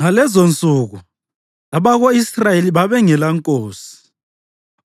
Ngalezonsuku abako-Israyeli babengelankosi.